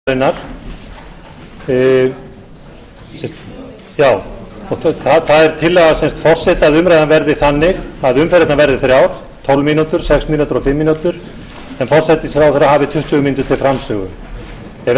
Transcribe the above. í kvöld klukkan sjö fimmtíu eru flutt skýrsla forsætisráðherra um stefnu ríkisstjórnarinnar það er tillaga forseta að umræðan verði þannig að umferðirnar verði þrjár tólf mínútur sex mínútur og fimm mínútur en forsætisráðherra hafi tuttugu mínútur til framsögu ef